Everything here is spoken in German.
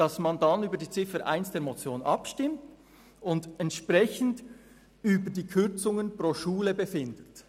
In diesem Fall soll über die Ziffer 1 der Motion abgestimmt und entsprechend über die Kürzungen pro Schule befunden werden.